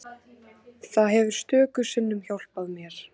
Það hefur stöku sinnum hjálpað mér.